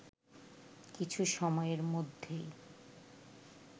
কিছু সময়ের মধ্যেই